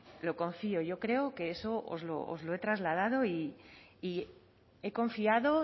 pero confío yo creo que eso os lo he trasladado y he confiado